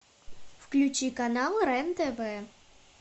включи канал рен тв